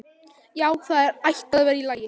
Já, það ætti að vera í lagi.